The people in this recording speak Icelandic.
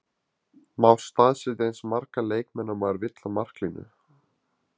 Má staðsetja eins marga leikmenn og maður vill á marklínu?